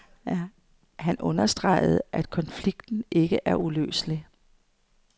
Han understregede, at konflikten ikke er uløselig.